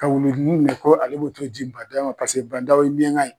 Ka wulu demin minɛ ko ale bi t'o di Ban Dao ma. Paseke Ban Dao ye miɲanka ye.